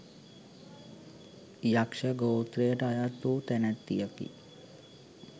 යක්‍ෂ ගෝත්‍රයට අයත් වූ තැනැත්තියකි.